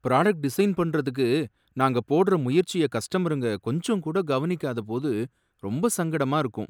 Product design பண்றதுக்கு நாங்க போடுற முயற்சிய கஸ்டமருங்க கொஞ்சம் கூட கவனிக்காத போது ரொம்ப சங்கடமா இருக்கும்.